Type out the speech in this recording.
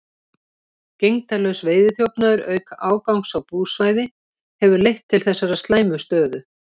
Gegndarlaus veiðiþjófnaður, auk ágangs á búsvæði, hefur leitt til þessarar slæmu stöðu.